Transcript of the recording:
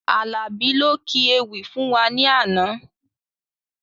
Alabi ló kí ewì fún wá ní àna